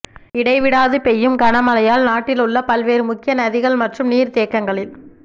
இடைவிடாது பெய்யும் கனமழையால் நாட்டிலுள்ள பல்வேறு முக்கிய நதிகள் மற்றும் நீர்த்தேக்கங்களில்